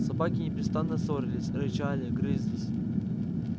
собаки непрестанно ссорились рычали грызлись